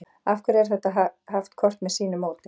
af hverju er þetta haft hvort með sínu móti